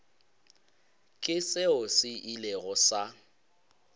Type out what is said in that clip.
ke seo se ilego sa